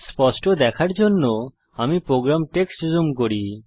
স্পষ্ট দেখার জন্য আমি প্রোগ্রাম টেক্সট জুম করি